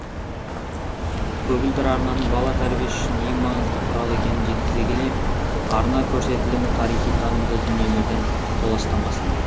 көгілдір арнаның бала тәрбиесі үшін ең маңызды құралы екенін жеткізе келе арна көрсетілімі тарихи танымды дүниелерден толастамасын